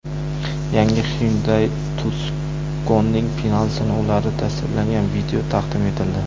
Yangi Hyundai Tucson’ning final sinovlari tasvirlangan video taqdim etildi.